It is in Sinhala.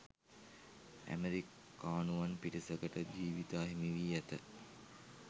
ඇමරිකානුවන් පිරිසකට ජීවිත අහිමිවී ඇත